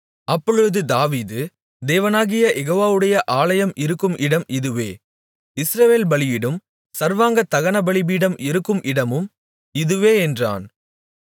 அப்பொழுது தாவீது தேவனாகிய யெகோவாவுடைய ஆலயம் இருக்கும் இடம் இதுவே இஸ்ரவேல் பலியிடும் சர்வாங்க தகனபலிபீடம் இருக்கும் இடமும் இதுவே என்றான்